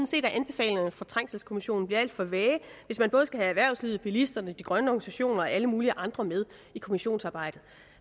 set at anbefalingerne fra trængselskommissionen bliver alt for vage hvis man både skal have erhvervslivet bilisterne de grønne organisationer og alle mulige andre med i kommissionsarbejdet